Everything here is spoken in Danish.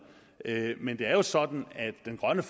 men det er jo sådan at grøn